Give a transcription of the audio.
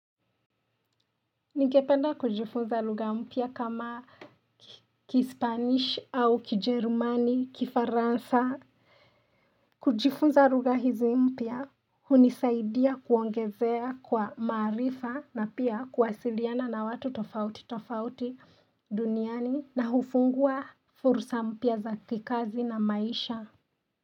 Ningependa kujifunza lugha mpya kama kispanish au kijerumani, kifaransa kujifunza lugha hizi mpya hunisaidia kuongezea kwa maarifa na pia kuwasiliana na watu tofauti tofauti duniani na hufungua fursa mpya za kikazi na maisha.